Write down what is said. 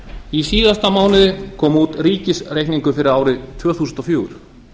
í síðasta mánuði kom út ríkisreikningur fyrir árið tvö þúsund og fjögur